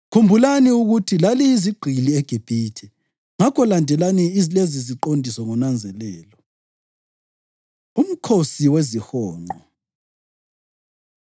Khumbulani ukuthi laliyizigqili eGibhithe, ngakho landelani leziziqondiso ngonanzelelo.” UMkhosi WeziHonqo